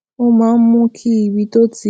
ó máa ń mú kí ibi tó ti